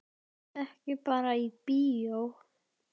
Ekki bara í bíó.